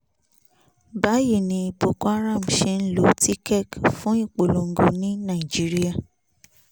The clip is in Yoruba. báyìí ni boko haram ṣe ń lo tikkek fún ìpolongo ní nàìjíríà